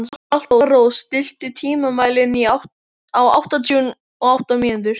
Alparós, stilltu tímamælinn á áttatíu og átta mínútur.